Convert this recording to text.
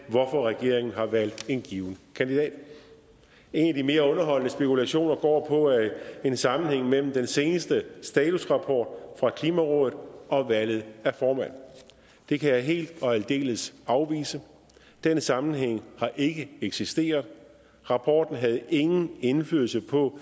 hvorfor regeringen har valgt en givet kandidat en af de mere underholdende spekulationer går på en sammenhæng mellem den seneste statusrapport fra klimarådet og valget af formand det kan jeg helt og aldeles afvise den sammenhæng har ikke eksisteret rapporten havde ingen indflydelse på